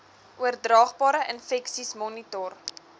oordraagbare infeksies monitor